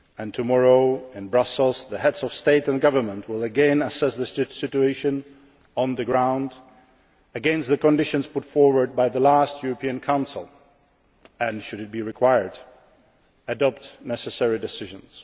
yet. Tomorrow in Brussels, the Heads of State and Government will again assess the situation on the ground against the conditions put forward by the last European Council and, should it be required, adopt the necessary decisions.